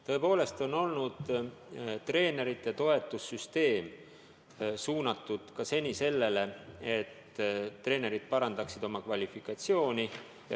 Tõepoolest on treenerite toetuse süsteem seni olnud suunatud ka sellele, et treenerid parandaksid oma kvalifikatsiooni.